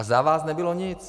A za vás nebylo nic.